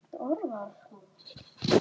Þín dóttir Þórdís.